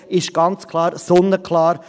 Das ist ganz klar, sonnenklar.